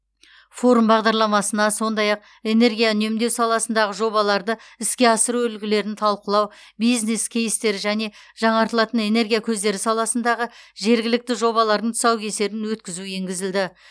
форум бағдарламасына сондай ақ энергия үнемдеу саласындағы жобаларды іске асыру үлгілерін талқылау бизнес кейстер және жаңартылатын энергия көздері саласындағы жергілікті жобалардың тұсаукесерін өткізу енгізілді